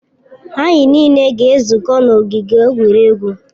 Anyị niile ga-ezukọ n'ogige egwuregwu